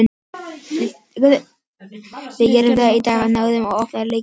Við gerðum það í dag og náðum að opna Leiknismennina.